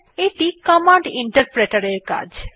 এ0ইটি command Interpreter এর কাজ